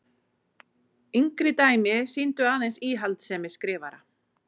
Yngri dæmi sýndu aðeins íhaldssemi skrifara.